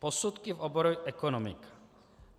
Posudky v oboru ekonomiky.